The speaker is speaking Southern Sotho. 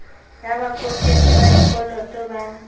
ya babokelli ba dikoloto ba